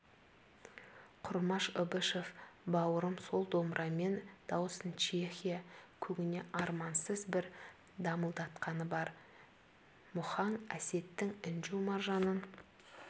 құрмаш ыбышев бауырым сол домбырамен дауысын чехия көгіне армансыз бір дамылдатқаны бар мұхаң әсеттің інжу-маржанын